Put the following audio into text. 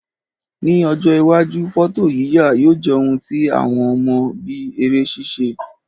Ní ọjọ́ iwájú, fọ́tòyíyà yóò jẹ́ ohun tí àwọn mọ̀ bíi eré ṣíṣe